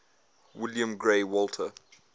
william grey walter